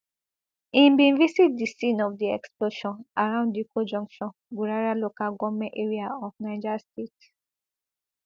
im bin visit di scene of di explosion around dikko junction gurara local goment area of niger state